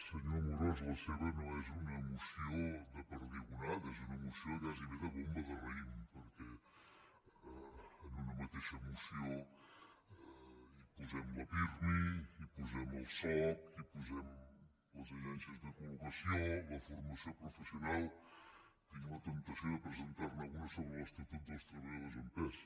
senyor amorós la seva no és una moció de perdigonada és una moció gairebé de bomba de raïm perquè en una mateixa moció hi posem la pirmi hi posem el soc hi posem les agències de colla temptació de presentar ne una sobre l’estatut dels treballadors en pes